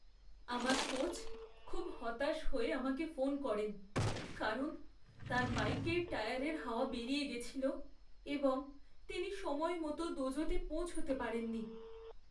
আমার কোচ খুব হতাশ হয়ে আমাকে ফোন করেন কারণ তাঁর বাইকের টায়ারের হাওয়া বেরিয়ে গেছিল এবং তিনি সময়মতো দোজোতে পৌঁছাতে পারেননি।